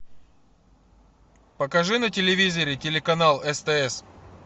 покажи на телевизоре телеканал стс